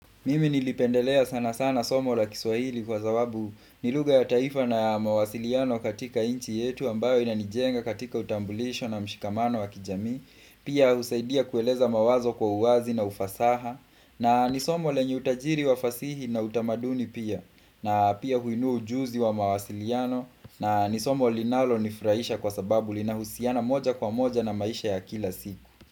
Mimi niliipendelea sana sana somo la kiswahili kwa sababu nilugha ya taifa na ya mawasiliano katika nchi yetu ambayo inanijenga katika utambulisho na mshikamano wa kijamii. Pia husaidia kueleza mawazo kwa uwazi na ufasaha na nisomo lenye utajiri wa fasihi na utamaduni pia. Pia huinu ujuzi wa mawasiliano na nisomo linalo nifurahisha kwa sababu linahusiana moja kwa moja na maisha ya kila siku.